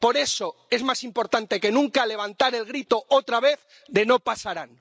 Por eso es más importante que nunca levantar el grito otra vez de ¡no pasarán!.